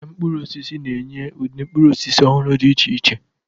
Ahịa mkpụrụ osisi na-enye ụdị mkpụrụ osisi ọhụrụ dị iche iche.